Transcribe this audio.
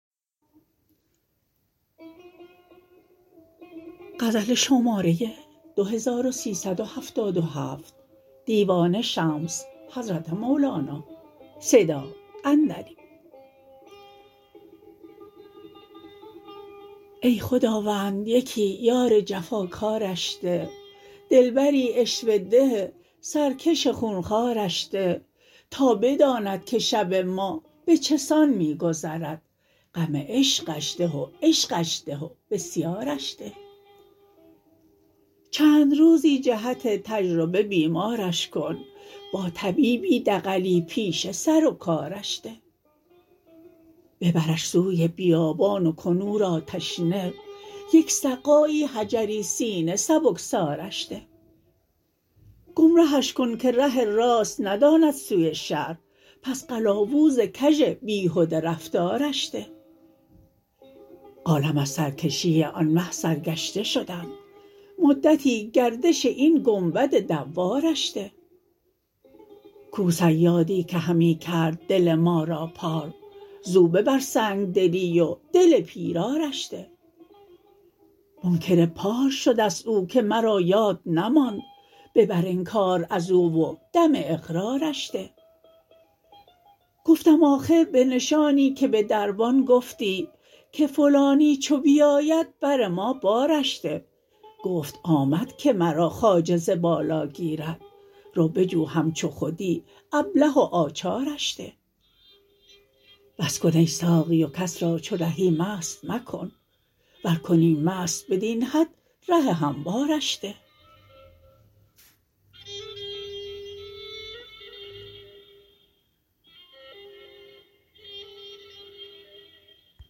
ای خداوند یکی یار جفاکارش ده دلبری عشوه ده سرکش خون خوارش ده تا بداند که شب ما به چه سان می گذرد غم عشقش ده و عشقش ده و بسیارش ده چند روزی جهت تجربه بیمارش کن با طبیبی دغلی پیشه سر و کارش ده ببرش سوی بیابان و کن او را تشنه یک سقایی حجری سینه سبکسارش ده گمرهش کن که ره راست نداند سوی شهر پس قلاوز کژ بیهده رفتارش ده عالم از سرکشی آن مه سرگشته شدند مدتی گردش این گنبد دوارش ده کو صیادی که همی کرد دل ما را پار زو ببر سنگ دلی و دل پیرارش ده منکر پار شده ست او که مرا یاد نماند ببر انکار از او و دم اقرارش ده گفتم آخر به نشانی که به دربان گفتی که فلانی چو بیاید بر ما بارش ده گفت آمد که مرا خواجه ز بالا گیرد رو بجو همچو خودی ابله و آچارش ده بس کن ای ساقی و کس را چو رهی مست مکن ور کنی مست بدین حد ره هموارش ده